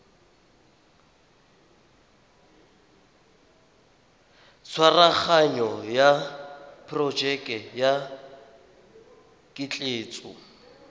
tshwaraganyo ya porojeke ya ketleetso